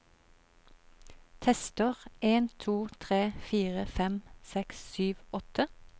Tester en to tre fire fem seks sju åtte